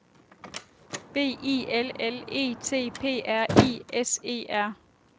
B I L L E T P R I S E R